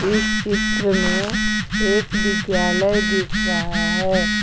इस चित्र में एक विद्यालय दिख रहा है।